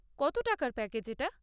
কত টাকার প্যাকেজ এটা?